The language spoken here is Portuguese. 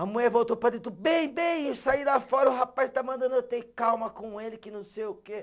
A mulher voltou para dentro, bem, bem, eu saí lá fora, o rapaz está mandando eu ter calma com ele, que não sei o quê.